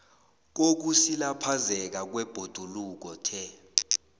kokusilaphazeka kwebhoduluko the